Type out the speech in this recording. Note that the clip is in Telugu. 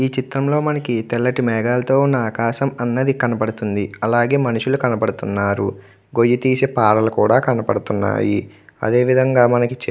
చిత్రంలో మనకి తెల్లటి మీదలతో ఉన్న ఆకాశం అనేది కనబడుతుంది. అలాగే మనుషులు కనపడుతున్నారు. గోయ తీసిన పారలు కనబడుతూ ఉన్న--